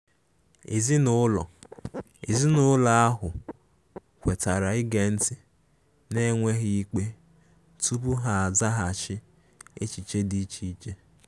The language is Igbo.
Ezinụlọ Ezinụlọ ahụ kwetara ige nti n'enweghi ikpe tupu ha azaghachi echiche di iche iche.